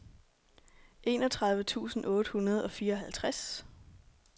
enogtredive tusind otte hundrede og fireoghalvtreds